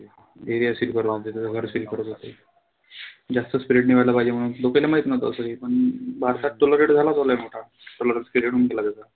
Area seal करत होते घर seal करत होते. जास्त spread नाही व्हायला पाहिजे म्हणून. लोकाले माहित नव्हतं असं काई. पण भारतात तो लगट झाला तो लै मोठा. लगेच spread होऊन गेला त्याचा.